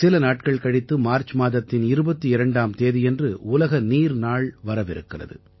சில நாட்கள் கழித்து மார்ச் மாதத்தின் 22ஆம் தேதியன்று உலக நீர் நாள் வரவிருக்கிறது